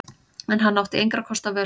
En hann átti engra kosta völ.